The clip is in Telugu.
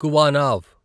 కువానావ్